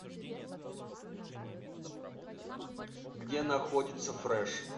где находится фреш